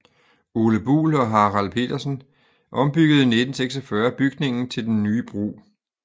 Ole Buhl og Harald Petersen ombyggede 1946 bygningen til den nye brug